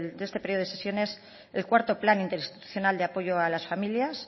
de este periodo de sesiones el cuarto plan interinstitucional de apoyo a las familias